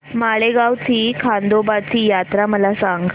माळेगाव ची खंडोबाची यात्रा मला सांग